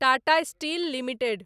Tata Steel limited